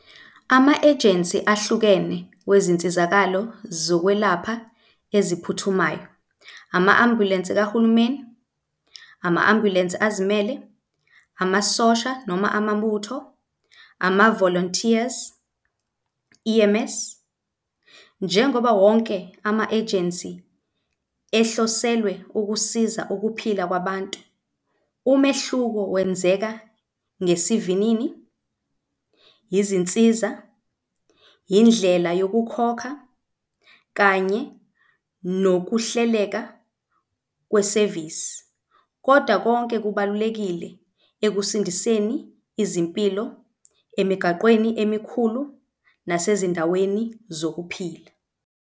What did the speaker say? Ama-agency ahlukene kwezinsizakalo zokwelapha eziphuthumayo. Ama-ambulensi kahulumeni, ama-ambulensi azimele, amasosha noma amabutho, ama-volunteers, E_M_S. Njengoba wonke ama-agency ehloselwe ukusiza ukuphila kwabantu. Umehluko wenzeka ngesivinini, izinsiza, indlela yokukhokha kanye nokuhleleka kwesevisi. Kodwa konke kubalulekile ekusindiseni izimpilo emigaqweni emikhulu nasezindaweni zokuphila.